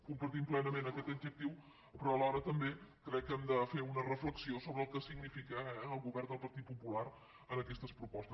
compartim plenament aquest objectiu però alhora també crec que hem de fer una reflexió sobre el que significa el govern del partit popular en aquestes propostes